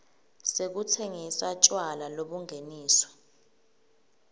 sekutsengisa tjwala lobungeniswe